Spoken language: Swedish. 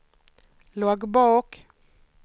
loggbok